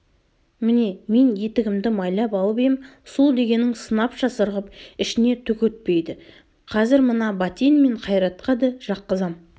міне мен етігімді майлап алып ем су дегенің сынапша сырғып ішіне түк өтпейді қазір мына бәтен мен қайратқа да жаққызам